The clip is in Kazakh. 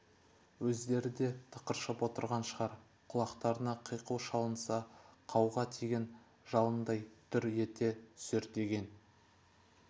өздері де тықыршып отырған шығар құлақтарына қиқу шалынса қауға тиген жалындай дүр ете түсер деген